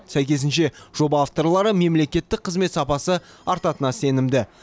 сәйкесінше жоба авторлары мемлекеттік қызмет сапасы артатынына сенімді